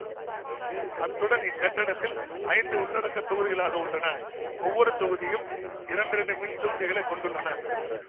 அத்துடன் இக்கட்டடத்தில் ஐந்து உள்ளடக்கத் தொகுதிகளாக உள்ளன ஒவ்வொரு தொகுதியும் இரண்டிரண்டு மின்தூக்கிகளைச் கொண்டுள்ளன